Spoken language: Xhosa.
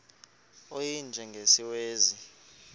u y njengesiwezi